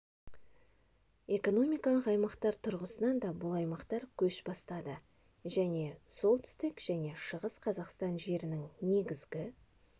экономикалық аймақтар тұрғысынан да бұл аймақтар көш бастады және солтүстік және шығыс қазақстан жерінің негізгі